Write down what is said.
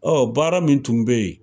baara min tun bɛ yen,